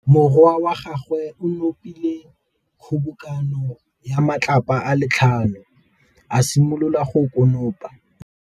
Morwa wa gagwe o nopile kgobokanô ya matlapa a le tlhano, a simolola go konopa.